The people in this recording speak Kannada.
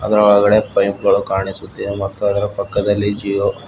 ಇದರ ಒಳಗಡೆ ಪೈಪ್ ಗಳು ಕಾಣಿಸುತ್ತಿವೆ ಮತ್ತು ಅದರ ಪಕ್ಕದಲ್ಲಿ ಜಿಒ--